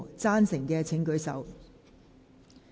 贊成的請舉手。